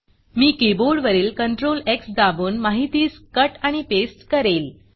मी keyboard वरील CTRL X दाबून माहितीस कट आणि पेस्ट करेल